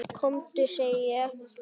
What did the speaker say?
KOMDU SEGI ÉG!